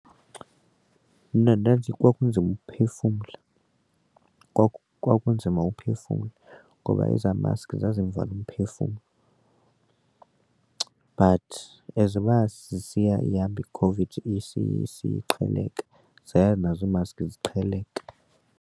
Mna ndandisithi kwakunzima ukuphefumla kwakunzima ukuphefumla ngoba ezaa maski zazivala umphefumlo, but as uba sisiya ihamba iCOVID isiya isiya iqheleka zaya nazo iimaski ziqheleka.